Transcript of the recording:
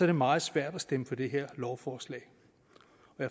det meget svært at stemme for det her lovforslag